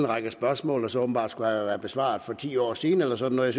række spørgsmål som åbenbart skulle have været besvaret for ti år siden eller sådan noget